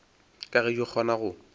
ka ge di kgona go